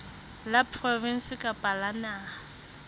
la provinse kapa la naha